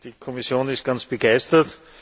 Die Kommission ist ganz begeistert.